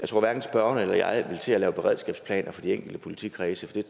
tror hverken spørgeren eller jeg vil til at lave beredskabsplaner for de enkelte politikredse